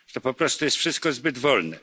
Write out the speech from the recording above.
To po prostu jest wszystko zbyt wolne.